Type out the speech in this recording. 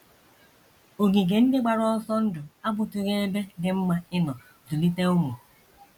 Ogige ndị gbara ọsọ ndụ abụtụghị ebe dị mma ịnọ zụlite ụmụ.